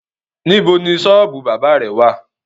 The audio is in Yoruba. Níbo ni ṣọ́ọ́bù bábà rẹ wá à?